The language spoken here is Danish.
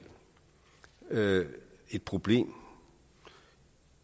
et problem